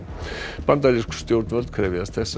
bandarísk stjórnvöld krefjast þess að